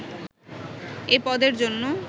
এ পদের জন্য